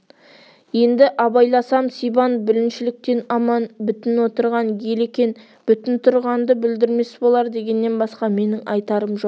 енді абайласам сибан бүліншіліктен аман бүтін отырған ел екен бүтін тұрғанды бүлдірмес болар дегеннен басқа менің айтарым жоқ